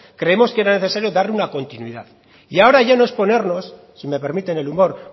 creemos que era necesario dar una continuidad y ahora no ya no es ponernos si me permiten el humor